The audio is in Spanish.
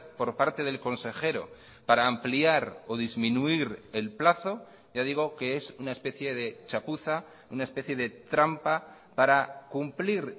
por parte del consejero para ampliar o disminuir el plazo ya digo que es una especie de chapuza una especie de trampa para cumplir